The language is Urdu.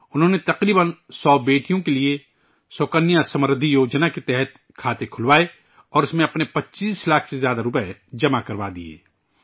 انہوں نے تقریباً 100 بیٹیوں کے لئے ' سُکنیا سمردھی یوجنا' کے تحت کھاتے کھلوائے اور اس میں اپنے 25 لاکھ سے زیادہ روپئے جمع کروادیئے